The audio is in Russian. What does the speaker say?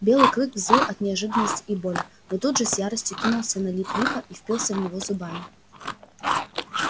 белый клык взвыл от неожиданности и боли но тут же с яростью кинулся на лип липа и впился в него зубами